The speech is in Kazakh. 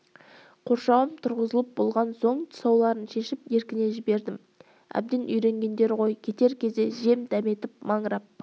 қоршауым тұрғызылып болған соң тұсауларын шешіп еркіне жібердім әбден үйренгендері ғой кетер кезімде жем дәметіп маңырап